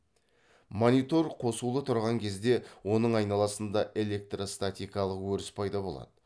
монитор қосулы тұрған кезде оның айналасында электростатикалық өріс пайда болады